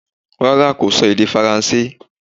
Rárá kò sọ èdè faransé